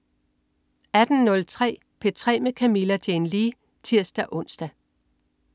18.03 P3 med Camilla Jane Lea (tirs-ons)